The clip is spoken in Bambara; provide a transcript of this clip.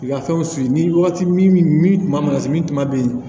I ka fɛnw ni wagati min min kuma mana se min tuma be yen